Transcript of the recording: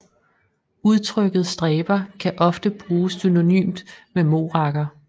Udtrykket stræber kan ofte bruges synonymt med morakker